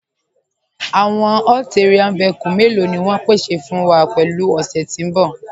Àwọn ATV mẹ́lọ̀ ni wọn ń pèsè wa pẹ̀lú ọ̀ṣẹ́ tí n bọ̀?